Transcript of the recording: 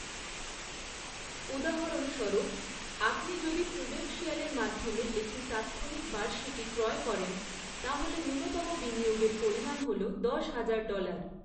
উদাহরণস্বরূপ, আপনি যদি প্রুডেনশিয়ালের মাধ্যমে একটি তাৎক্ষণিক বার্ষিকী ক্রয় করেন, তাহলে ন্যূনতম বিনিয়োগের পরিমাণ হল দশ হাজার ডলার৷